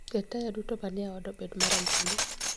Ket taya duto manie oda obed marambulu